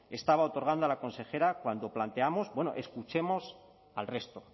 estaba otorgando a la consejera cuando planteamos bueno escuchemos al resto